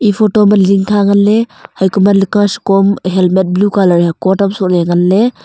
e photo ma lingkha ngnaley hai kuma likh shiko am helmet blue colour hai coat am sohley nganley.